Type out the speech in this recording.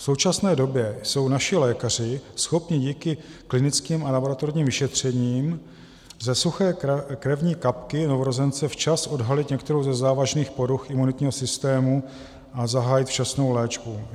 V současné době jsou naši lékaři schopni díky klinickým a laboratorním vyšetřením ze suché krevní kapky novorozence včas odhalit některou ze závažných poruch imunitního systém a zahájit včasnou léčbu.